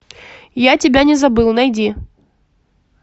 я тебя не забыл найди